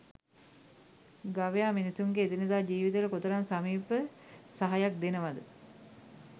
ගවයාමිනිසුන්ගේ එදිනෙදා ජීවිතේට කොතරම් සමීප සහයක් දෙනවද?